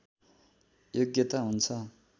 योग्यता हुन्छ